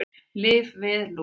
Lyf við lús